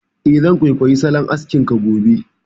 Eh, zan kwaikwayi salon askin ka gobe